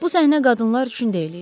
Bu səhnə qadınlar üçün deyil idi.